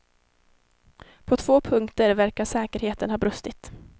På två punkter verkar säkerheten ha brustit.